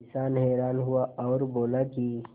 किसान हैरान हुआ और बोला कि